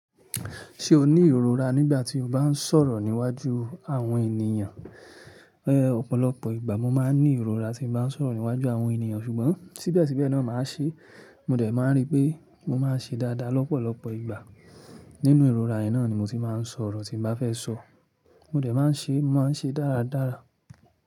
Ṣé o ní ìrora nígbà tí o bá ń sọ̀rọ̀ níwájú àwọn ènìyàn? Ẹ̀ ọ̀pọ̀lọpọ̀ ìgbà mo máa ní ìrora tí bá ń sọ̀rọ̀ níwájú àwọn ènìyàn. Ṣùgbọ́n, síbẹ̀síbẹ̀ náà màá ṣe, mo dẹ̀ máa rí pé mọ máa ṣe dáadáa lọ́pọ̀lọpọ̀ ìgbà. Nínú ìrora yẹn náa ni mo ti máa ń sọ̀rọ̀ tí bá fẹ́ sọ. Mọ dẹ̀ máa ń ṣe, mọ máa ń ṣe dáradára.